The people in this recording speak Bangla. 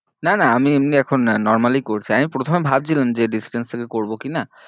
না না আমি এমনি এখন normally করছি, আমি প্রথমে ভাবছিলাম যে distance থেকে করবো কি না